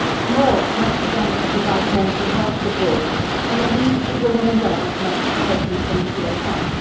More must be done to provide mental health support, and the needs of women and girls must be taken into account.